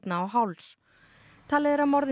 á háls talið er að morðin